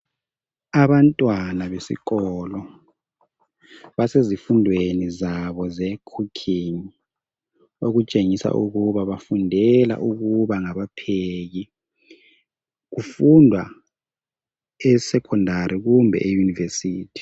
Abantwana besikolo basezifundwreni zabo zekhukhingi. Okutshengisa ukuba bafundela ukuba ngabapheki. Kufundwa e 'secondary' kumbe eyunivesithi.